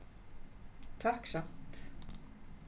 Takk samt.